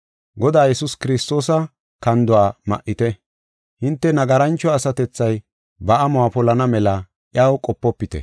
Godaa Yesuus Kiristoosa kanduwa ma7ite; hinte nagarancho asatethay ba amuwa polana mela iyaw qopofite.